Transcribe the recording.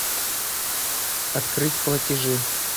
открыть платежи